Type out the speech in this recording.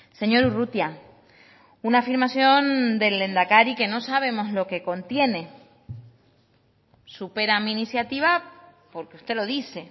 señor urrutia una afirmación del lehendakari que no sabemos lo que contiene supera mi iniciativa porque usted lo dice